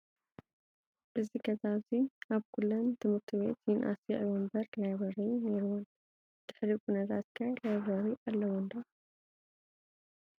እዚ ገዛ እዙይ ኣብ ኩለን ኣብ ኩለን ትምህርቲ ቤት ይንኣስ ይግበ እምበረ ላብሪ ነይርወን ። ድሕሪ ኩነታት ከ ላብረሪ ኣለወን ዶ።